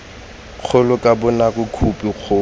kgolo ka bonako khophi kgolo